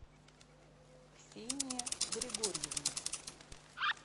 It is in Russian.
ксения григорьевна